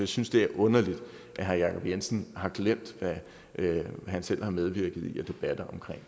synes det er underligt at herre jacob jensen har glemt at han selv har medvirket i debatter om